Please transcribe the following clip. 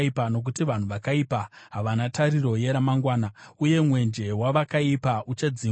nokuti vanhu vakaipa havana tariro yeramagwana, uye mwenje wavakaipa uchadzimwa.